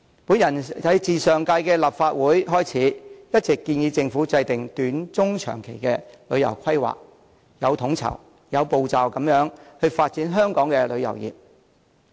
我自上屆立法會開始，一直建議政府制訂短、中、長期的旅遊規劃措施，有統籌、有步驟地發展香港的旅遊業。